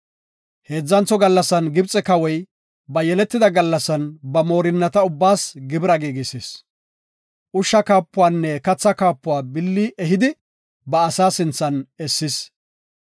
Heedzantho gallasan Gibxe Kawoy ba yeletida gallasan ba moorinnata ubbaas gibira giigisis. Ushsha kaapuwanne katha kaapuwa billi ehidi ba asa sinthan essis.